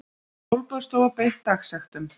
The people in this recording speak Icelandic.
Sólbaðsstofa beitt dagsektum